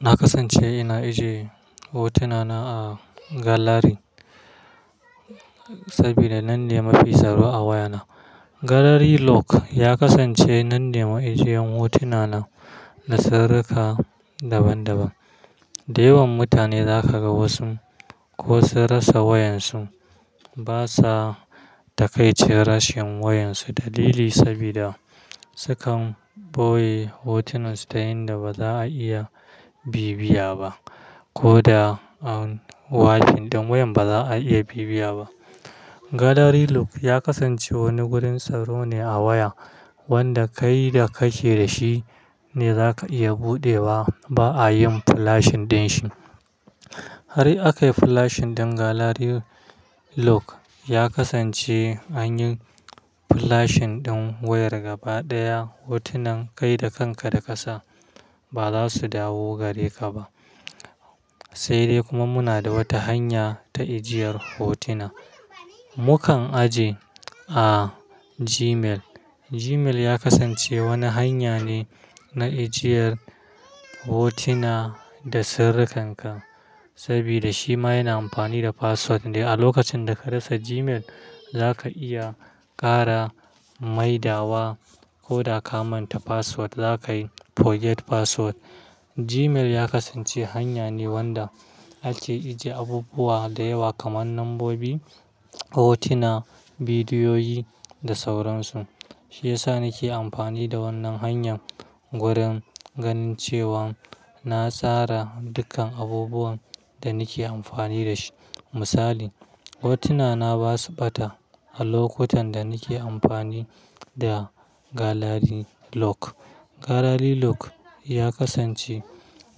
Na kasance ina ajiye hotuna na a galari saboda nan ne mafi tsaro a waya na. Galari lock ya kasance nan ne ma ajiyan hotuna na da saraka daban-daban. Da yawan mutane za ka ga wasu ko sun rasa wayan su, ba sa ta kai ce rashin wayan su dalili sabida su kan ɓoye hotunan su ta yanda ba za a iya bibbiya ba, ko da an wafi ɗan wayan ba za a iya bibbiya ba. Galari lock ya kasance wani gurin tsaro ne a waya wanda kai da ka ke da shi ne za ka iya buɗe wa, ba a yin flash ɗin shi. Har akayi flash ɗin galari lock ya kasance an yi flash ɗin wayar gaba ɗaya, hotunan kai da kanka da ƙasa ba za su dawo gare ka ba. Sai dai kuma muna da wata hanya ta ajiyar hotuna. Mu kan ajiye a Gmail. Gmail ya kasance wani hanya ne na ajiyar hotuna da sirri kanka, sabida shi ma yana amfani da password ne. A lokacin da ka rasa Gmail, za ka iya ƙara maida wa ko da ka manta password za ka yi forget password. Gmail ya kasance hanya ne wanda ake ajiye abubuwa da yawa kaman lambobi, hotuna, bidiyoyi da sauran su. Shi ya sa ni ke amfani da wannan hanyar wurin ganin cewan na tsara dukkan abubuwan da ni ke amfani da shi. Misali, hotuna na ba su ɓata a lokutan da ni ke amfani da galari lock. Galari lock ya kasance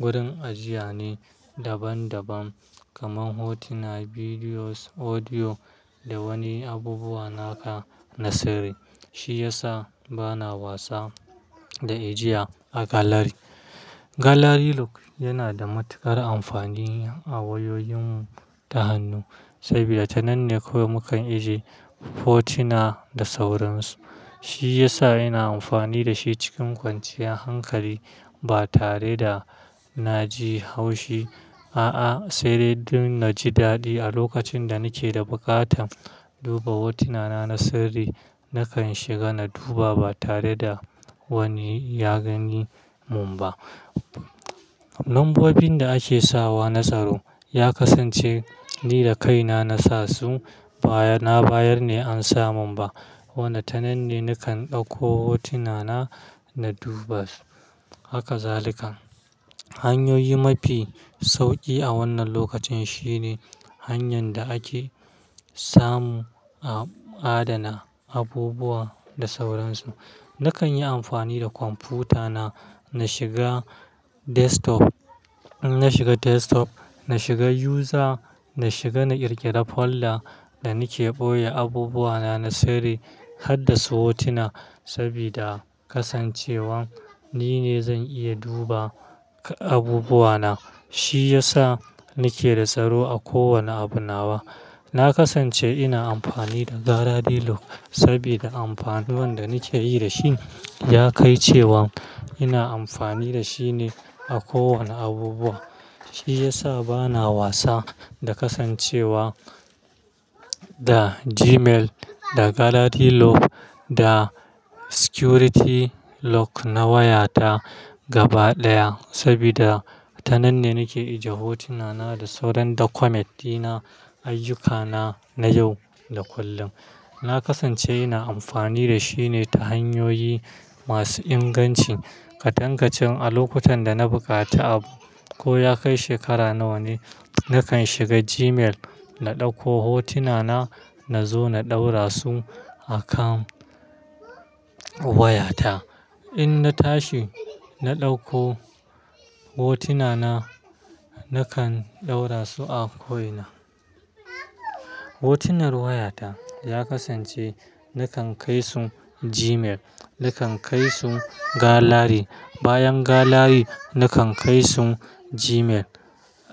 wurin ajiya ne daban-daban kaman hotuna, bidiyo, audio da wani abubuwa naka na sirri. Shi ya sa bana wasa da ajiya a galari. Galari lock yana da matuƙar amfani a wayoyin ta hannu sabida tananne ko mu kan ajiye hotuna da sauran su. Shi ya sa ina amfani da shi cikin kwanciyar hankali ba tare da na ji haushi, a'a sai dai dun na ji daɗi a lokacin da ni ke da buƙatan duba hotuna na, na sirri. Nakan shiga na duba ba tare da wani ya gani mun ba. Lambobin da ake sa wa na tsaro ya kasance ni da kaina na sa su, na bayar ne an samu ba. Wannan tananne ni kan ɗauko hotuna na, na duba haka zalikan. Hanyoyi mafi sauƙi a wannan lokacin shine hanyar da ake samu a adana abubuwa da sauran su. Na kan yi amfani da kwamfuta na, na shiga desktop, na shiga user, na shiga na ƙirƙira folder da ni ke ɓoye abubuwa na, na sirri harda su hotuna sabida kasancewan ni ne zan iya duba abubuwa na. Shi ya sa ni ke da tsaro a kowane abu nawa. Na kasance ina amfani da galari lock sabida amfanin da ni ke yi da shi ya kai cewan ina amfani da shi ne a kowane abubuwa. Shi ya sa bana wasa da kasancewa da Gmail, da galari lock da security lock na waya ta gaba ɗaya sabida tananne ni ke ajiye hotuna na da sauran document dina, ayyukana na yau da kullum. Na kasance ina amfani da shi ne ta hanyoyi masu inganci. Katankacin a lokutan da na buƙata abu ko ya kai shekara nawa ne, na kan shiga Gmail, na ɗauko hotuna na, na zo na ɗaura su a kan waya ta. In na tashi, na ɗauko hotuna na, na kan ɗaura su a koyina. Hotunan waya ta ya kasance na kan kai su Gmail, na kan kai su galari. Bayan galari, na kan kai su Gmail.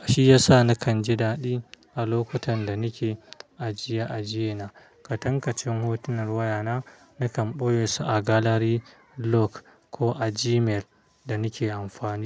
Shi ya sa na kan ji daɗi a lokutan da ni ke ajiye ajiye na. Katankacin hotunan waya na, na kan ɓoye su a galari lock ko a Gmail da ni ke amfani.